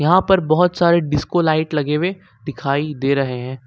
यहां पर बहुत सारे डिस्को लाइट लगे हुए दिखाई दे रहे हैं।